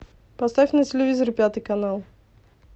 поставь на телевизоре пятый канал